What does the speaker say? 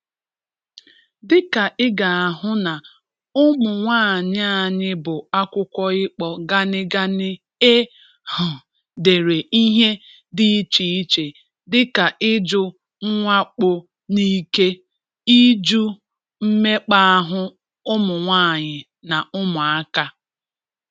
Dịka ị ga-ahụ na ụmụnwaanyị anyị bu akwụkwọ ịkpọ ganigani e um dere ihe dị iche iche dị ka ijụ mwakpo n'ike, ijụ mmekpa ahụ ụmụnwaanyị na ụmụaka.